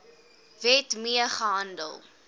wet mee gehandel